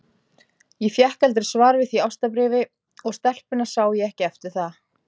Ég fékk aldrei svar við því ástarbréfi, og stelpuna sá ég ekki eftir það.